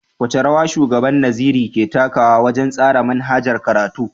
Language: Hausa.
Wace rawa Shugaban Nazari ke takawa wajen tsara manhajar karatu.